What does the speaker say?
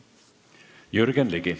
Jürgen Ligi.